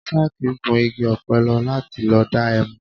Sákì gun igi ọ̀pẹ lọ láti lọ dá ẹmu